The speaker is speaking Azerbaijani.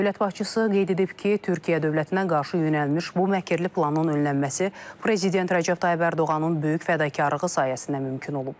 Dövlət başçısı qeyd edib ki, Türkiyə dövlətinə qarşı yönəlmiş bu məkirli planın önlənməsi Prezident Rəcəb Tayyib Ərdoğanın böyük fədakarlığı sayəsində mümkün olub.